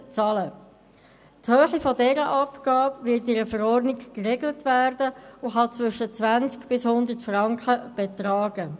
Die Höhe dieser Abgabe wird in einer Verordnung geregelt werden und kann von 20 bis 100 Franken betragen.